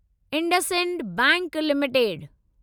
IndusInd bank limited